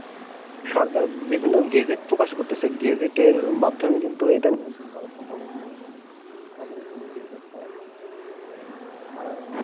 সরকার বিভিন্ন gadget প্রকাশ করতেছে gadget এর মাধ্যমে কিন্তু এটা সম্ভব হচ্ছে না তাদেরও তো নিজস্ব একটা